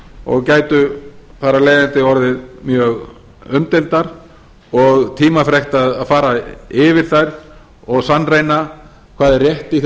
og gætu þar af leiðandi orðið mjög umdeildar og tímafrekt að fara yfir þær og sannreyna hvað er rétt í